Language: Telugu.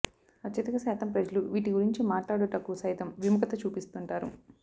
అత్యధిక శాతం ప్రజలు వీటి గురించి మాట్లాడుటకు సైతం విముఖత చూపిస్తుంటారు